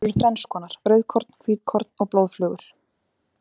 Þær eru þrennskonar, rauðkorn, hvítkorn og blóðflögur.